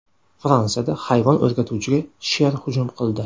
Fransiyada hayvon o‘rgatuvchiga sher hujum qildi .